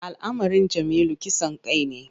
Al’amarin Jamilu kisan kai ne.